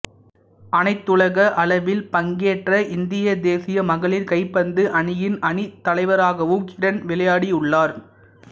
அனைத்துலக அளவில் பங்கேற்ற இந்திய தேசிய மகளிர் கைப்பந்து அணியின் அணித்தலைவராகவும் கிரண் விளையாடியுள்ளார்